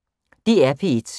DR P1